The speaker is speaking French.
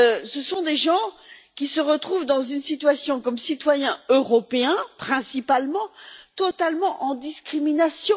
Ce sont des gens qui se retrouvent dans une situation comme citoyens européens, principalement, totalement en discrimination.